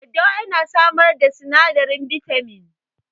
Daddawa ya na samar da sinadarin bitamin